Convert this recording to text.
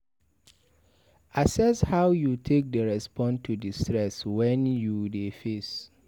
Access how you take dey respond to di stress wey you dey face